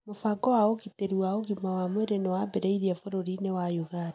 Mũbango wa ũgitĩri wa ũgima wa mwĩrĩ nĩ wambĩrĩirio bũrũri-inĩ wa Uganda.